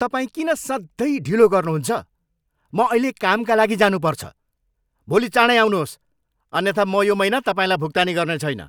तपाईँ किन सधैँ ढिलो गर्नुहुन्छ? म अहिले कामका लागि जानु पर्छ! भोलि चाँडै आउनुहोस् अन्यथा म यो महिना तपाईँलाई भुक्तानी गर्नेछैन।